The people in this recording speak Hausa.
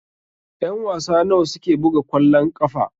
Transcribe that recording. Ƴan-wasa nawa suke buga kwallon ƙafa?